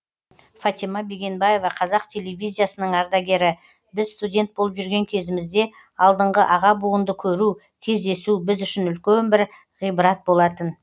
фатима бегенбаева қазақ телевизиясының ардагері біз студент болып жүрген кезімізде алдыңғы аға буынды көру кездесу біз үшін бір ғибрат болатын